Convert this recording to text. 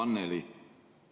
Hea Anneli!